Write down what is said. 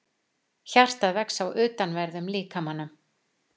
Hjartað vex á utanverðum líkamanum